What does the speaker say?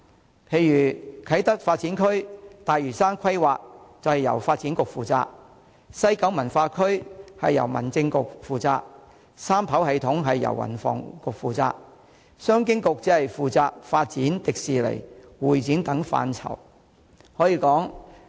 舉例說，啟德發展區和大嶼山規劃由發展局負責、西九文化區由民政事務局負責、三跑系統由運輸及房屋局負責，而商務及經濟發展局則只負責發展迪士尼及會展等範疇。